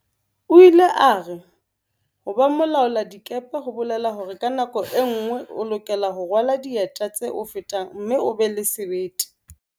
O ile a re, ho ba mo laoladikepe ho bolela hore ka nako e nngwe o lokela ho rwala dieta tse o fetang mme o be le sebete.